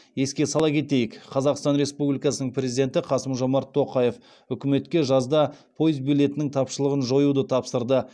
еске сала кетейік қазақстан республикасының президенті қасым жомарт тоқаев үкіметке жазда пойыз билетінің тапшылығын жоюды тапсырды